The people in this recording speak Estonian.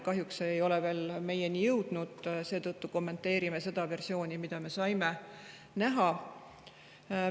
Kahjuks ei ole see veel meieni jõudnud, seetõttu kommenteerin seda versiooni, mida me oleme näha saanud.